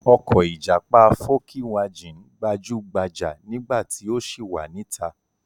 Ọkọ̀ ìjàpá fókíwajìn gbajúgbajà nígbà tí ó ṣì wà níta.